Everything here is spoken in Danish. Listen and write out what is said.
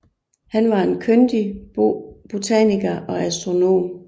Han var en kyndig botaniker og astronom